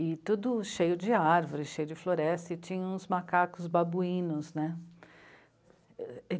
E tudo cheio de árvores, cheio de floresta, e tinha uns macacos babuínos, né?